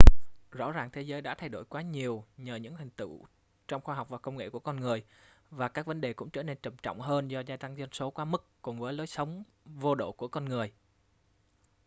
rõ ràng thế giới đã thay đổi quá nhiều nhờ những thành tựu trong khoa học và công nghệ của con người và các vấn đề cũng trở nên trầm trọng hơn do gia tăng dân số quá mức cùng với lối sống vô độ của con người